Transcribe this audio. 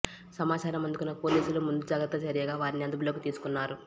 సమాచారం అందుకున్న పోలీసులు ముందు జాగ్రత్త చర్యగా వారిని అదుపులోకి తీసుకున్నారు